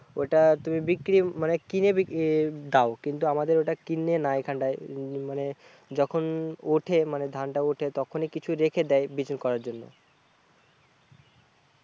ওটা তুমি বিক্রি মানে. কিনে দাও কিন্তু আমাদের এটা কিনে না এখানটায় উম মানে যখন উঠে মানে ধানটা উঠে তখন কিছু রেখে দেয় বিক্রি করার জন্য